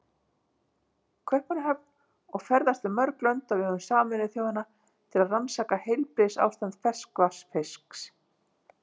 Kaupmannahöfn og ferðast um mörg lönd á vegum Sameinuðu þjóðanna til að rannsaka heilbrigðisástand ferskvatnsfisks.